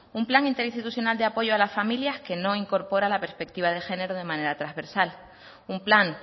un plan interinstitucional de apoyo a las familias que no incorpora la perspectiva de género de manera transversal un plan